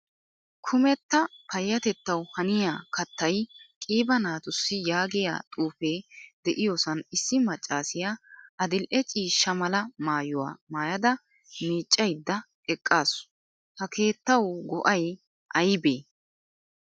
Kumetta payatettawu haniyaa kattay qiiba naatussi yaagiyaa xuufe de'iyosan issi maccasiyaa adil'ee ciishsha mala maayuwaa maayda miccaydda eqqasu. Ha keettawu go'ay aybe?